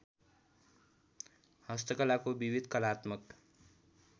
हस्तकलाको विविध कलात्मक